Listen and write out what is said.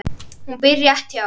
Hún býr rétt hjá.